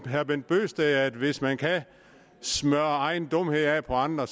herre bent bøgsted at hvis man kan smøre egen dumhed af på andre